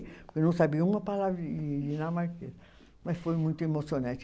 Eu não sabia uma palavra dinamarquesa, mas foi muito emocionante.